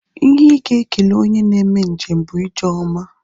Ihe ị ga-ekele onye na-eme njem bụ ije ọma